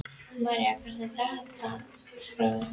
María, hvernig er dagskráin?